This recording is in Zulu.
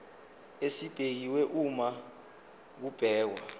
esibekiwe uma kubhekwa